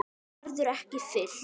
Það verður ekki fyllt.